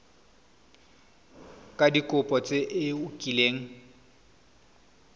ka dikopo tse o kileng